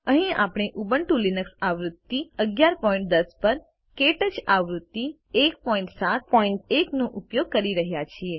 અહીં આપણે Ubuntu Linux આવૃત્તિ 1110 પર ક્ટચ આવૃત્તિ 171 નો ઉપયોગ કરી રહ્યા છીએ